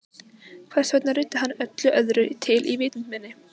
Hvers vegna ruddi hann öllu öðru til í vitund minni?